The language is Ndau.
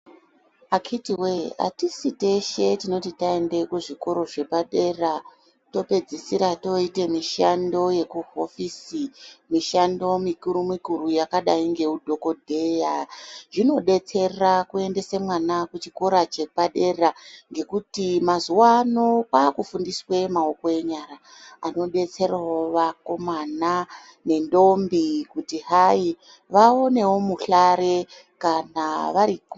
Akiti woye atisi teshe tinoti taenda kuzvikora zvepadera topedzisira toita mishandl yekuhofosi mushando mikuru mikuru yakadai ngeudhokodheya zvinodetsera kuendesa mwana kuendesa mwana chikora chepadera ngekuti mazuwa ano kwakufundiswa maoko enyara anodetserawo vakomana nendombi kuti vaonewo muhlare kana vari......